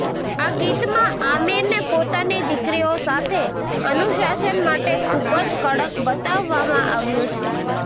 આ ગીતમાં આમીરને પોતાની દીકરીઓ સાથે અનુશાસન માટે ખૂબ જ કડક બતાવવામાં આવ્યો છે